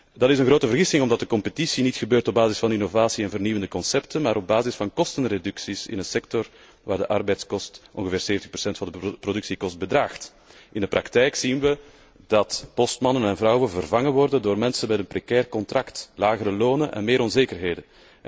Dat is een grote vergissing omdat de concurrentie niet gebeurt op basis van innovatie en vernieuwende concepten, maar op basis van kostenreducties in de sector, waar de arbeidskosten ongeveer 70 van de productiekosten bedraagt. In de praktijk zien we dat postmannen en vrouwen vervangen worden door met mensen met een precair contract, lagere lonen en meer onzekerheden.